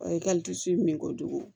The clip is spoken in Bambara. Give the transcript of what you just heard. I ka min kojugu